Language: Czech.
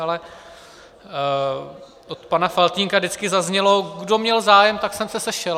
Ale od pana Faltýnka vždycky zaznělo "kdo měl zájem, tak jsem se sešel".